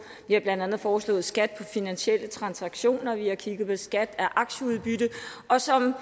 vi har blandt andet foreslået skat finansielle transaktioner og vi har kigget på skat af aktieudbytte og som